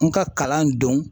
N ka kalan don